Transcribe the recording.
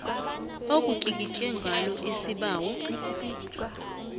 okutlikitlwe ngalo isibawo